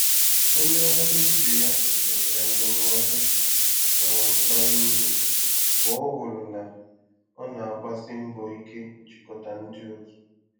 Onye ọrụ ibe ya nyere ya ndụmọdụ um bara uru mgbe ọ hụrụ na ọ na-agbasi mbọ ike ijikọta ndị otu.